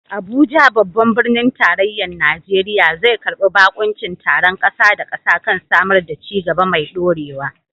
Abuja, babban birnin tarayyar Najeriya, zai karbi bakuncin taron kasa da kasa kan samar da ci gaba mai ɗorewa.